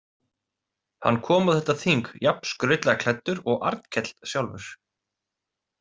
Hann kom á þetta þing jafn skrautlega klæddur og Arnkell sjálfur.